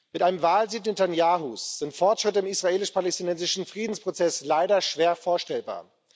Mit einem Wahlsieg Netanjahus sind Fortschritte im israelisch palästinensischen Friedensprozess leider schwer vorstellbar.